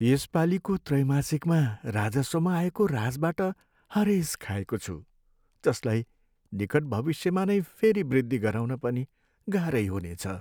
यसपालीको त्रैमासिकमा राजस्वमा आएको ह्रासबाट हरेस खाएको छु, जसलाई निकट भविष्यमा नै फेरी वृद्धि गराउन पनि गाह्रै हुनेछ।